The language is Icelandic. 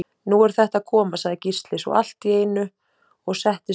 Nú er þetta að koma, sagði Gísli svo allt í einu og settist upp.